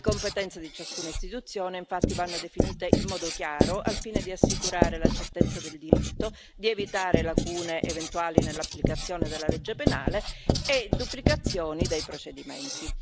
Le competenze di ciascuna istituzione infatti vanno definite in modo chiaro, al fine di assicurare la certezza del diritto, di evitare lacune eventuali nell'applicazione della legge penale e duplicazioni dei procedimenti.